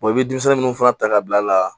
i bɛ denmisɛnnin minnu fana ta ka bila la